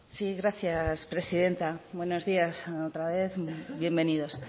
sí gracias presidenta buenos días otra vez y bienvenidos